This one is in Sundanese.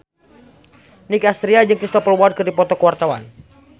Nicky Astria jeung Cristhoper Waltz keur dipoto ku wartawan